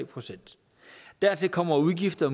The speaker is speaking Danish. procent dertil kommer udgifter